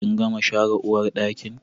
Kin gama share uwarɗakin?